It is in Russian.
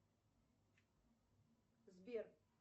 сбер